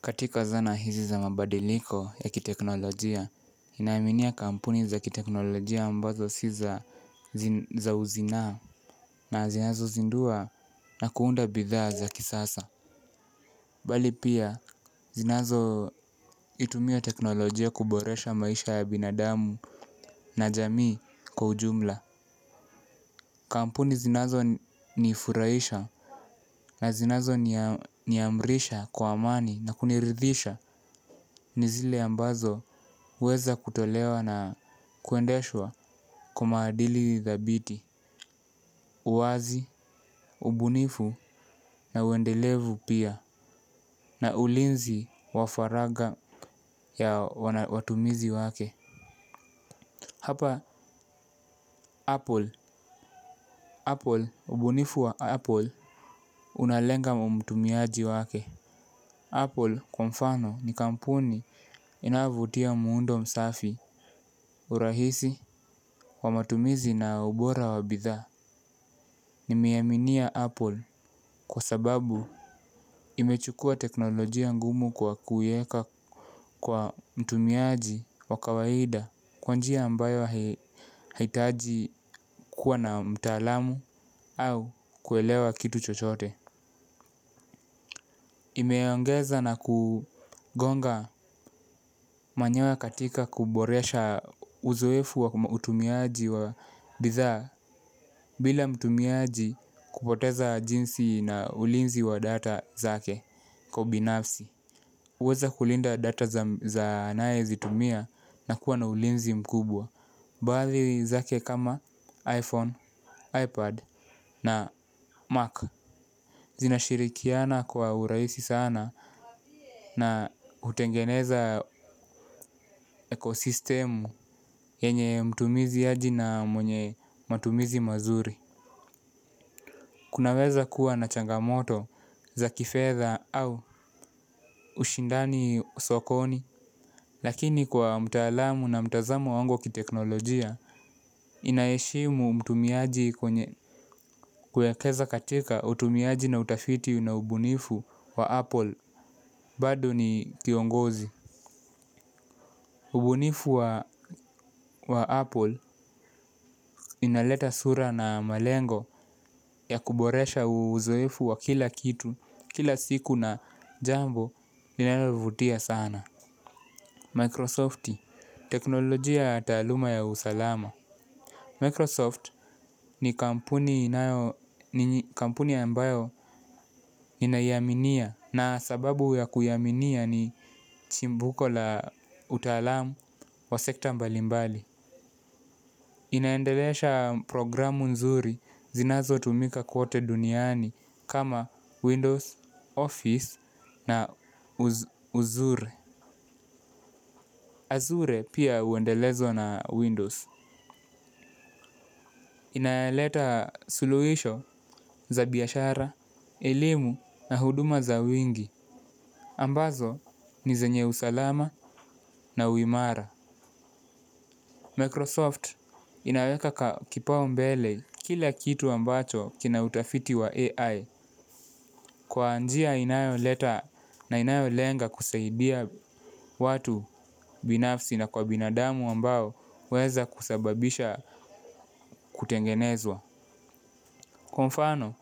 Katika zana hizi za mabadiliko ya kiteknolojia, ninaaminia kampuni za kiteknolojia ambazo si za uzinaa na zinazozindua na kuunda bidhaa za kisasa. Bali pia zinazo itumia teknolojia kuboresha maisha ya binadamu na jamii kwa ujumla. Kampuni zinazonifuraisha na zinazo niamrisha kwa amani na kunirithisha ni zile ambazo uweza kutolewa na kuendeshwa kwa madili thabiti. Uwazi, ubunifu na uendelevu pia na ulinzi wa faragha ya watumizi wake. Hapa Apple, Apple, ubunifu wa Apple, unalenga mtumiaji wake. Apple kwa mfano ni kampuni inayovutia muundo msafi, urahisi, kwa matumizi na ubora wa bidhaa, nimeiaminia Apple kwa sababu, imechukua teknolojia ngumu kwa kuieka kwa mtumiaji wa kawaida. Kwa njia mbayo haiitaji kuwa na mtaalamu au kuelewa kitu chochote. Imeongeza na kugonga manyoya katika kuboresha uzoefu wa utumiaji wa bidhaa. Bila mtumiaji kupoteza jinsi na ulinzi wa data zake kwa binafsi. Huweza kulinda data za anayezitumia na kuwa na ulinzi mkubwa. Baadhi zake kama iPhone, iPad na Mac. Zinashirikiana kwa urahisi sana na hutengeneza ekosistemu yenye mtumiaji na mwenye matumizi mazuri. Kunaweza kuwa na changamoto za kifedha au ushindani sokoni. Lakini kwa mtaalamu na mtazamo wangu wa kiteknolojia. Inaheshimu mtumiaji kwenye kuwekeza katika utumiaji na utafiti na ubunifu wa Apple. Bado ni kiongozi. Ubunifu wa Apple inaleta sura na malengo ya kuboresha uzeifu wa kila kitu. Kila siku na jambo lilonalavutia sana Microsofti, teknolojia ya taaluma ya usalama Microsoft ni kampuni ambayo ninaiaminia na sababu ya kuiaminia ni chimbuko la utaalam wa sekta mbalimbali. Inaendeleesha programu nzuri zinazotumika kote duniani kama Windows, Office na Azure. Azure pia uendelezo na Windows. Inaleta suluhisho za biashara, elimu na huduma za wingi ambazo ni zenye usalama na uimara Microsoft inaweka kipau mbele kila kitu ambacho kina utafiti wa AI. Kwa njia inayoleta na inayolenga kusaidia watu binafsi na kwa binadamu ambao huweza kusababisha kutengenezwa. Kwa mfano,